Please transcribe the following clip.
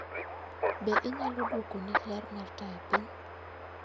Be inyalo dwokoni ler mar taya piny?